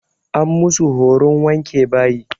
An musu horon wanke bayi.